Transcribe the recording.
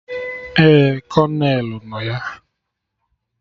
Ee, Kolonel nọ ya